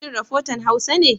Shin rafotan Hausa ne?